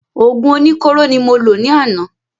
Òògùn oní kóró ni mo lò ní àná